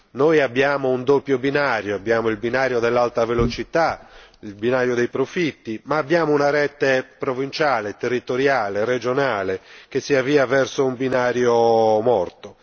Noi abbiamo un doppio binario abbiamo il binario dell'alta velocità, il binario dei profitti, ma abbiamo anche una rete provinciale, territoriale e regionale che si avvia verso un binario morto.